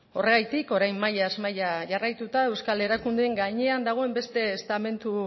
horregatik orain mailaz maila jarraituta euskal erakundeen gainean dagoen beste estamentu